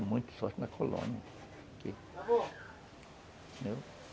É muita sorte na colônia.